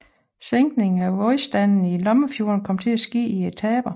Sænkningen af vandstanden i Lammefjorden kom til at ske i etaper